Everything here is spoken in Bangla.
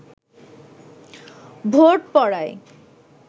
ভোট পড়ায়